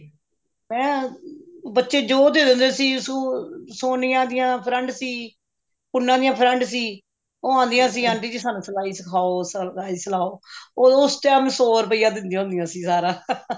ਹੈਂ ਬੱਚੇ ਜੋ ਦੇ ਦਿੰਦੇ ਸੀ ਸੋਨੀਆ ਦੀਆਂ friend ਸੀ ਕੁੰਨਾ ਦੀਆਂ friend ਸੀ ਉਹ ਆਉਂਦੀਆਂ ਸੀ ਕਹਿੰਦੀ ਸੀ aunty ਮੈਨੂੰ ਸਲਾਈ ਸਿਖਾਓ ਸਲਾਈ ਸਿਖਾਓ ਉਸ time ਸੋ ਰੁਪਇਆ ਦਿੰਦੀਆਂ ਹੁੰਦੀਆਂ ਸੀ ਸਾਰਾ